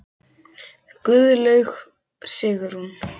Guðlaug Sigrún.